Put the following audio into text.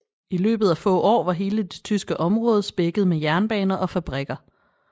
I løbet af få år var hele det tyske område spækket med jernbaner og fabrikker